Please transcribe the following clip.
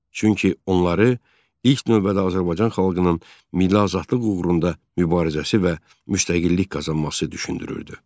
Çünki onları ilk növbədə Azərbaycan xalqının milli azadlığı uğrunda mübarizəsi və müstəqillik qazanması düşündürürdü.